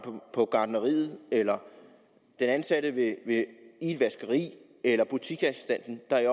på gartneriet eller den ansatte i et vaskeri eller butiksassistenten der i